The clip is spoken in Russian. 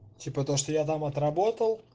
типа то что я там отработал